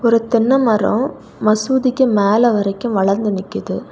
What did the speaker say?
அப்புறொ தென்னெ மரொ மசூதிக்கு மேல வரைக்கு வளந்து நிக்குது.